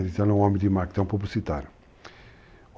Ele é um homem de marketing, é um publicitário.